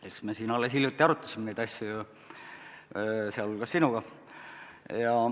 Eks me siin alles hiljuti arutasime neid asju, sh sinuga.